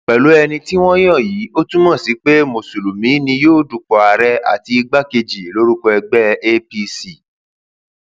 pẹlú ẹni tí wọn yàn yìí ó ó túmọ sí pé mùsùlùmí ni yóò dupò ààrẹ àti igbákejì lórúkọ ẹgbẹ apc